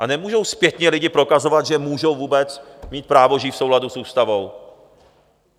A nemůžou zpětně lidi prokazovat, že můžou vůbec mít právo žít v souladu s ústavou.